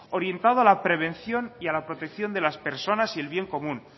orientado a la prevención y a la protección de las personas y el bien común